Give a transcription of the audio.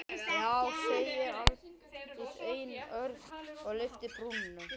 Já, segir Arndís einörð og lyftir brúnum.